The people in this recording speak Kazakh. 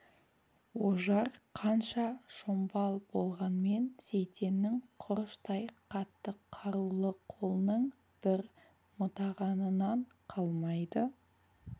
ожар қанша шомбал болғанмен сейтеннің құрыштай қатты қарулы қолының бір мытығанынан қалмайды